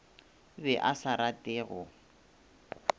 be a sa rate go